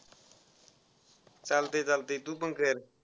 चालतय चालतय तू पण कर.